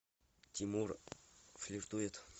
тимур флиртует